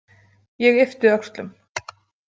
Ég yppti öxlum.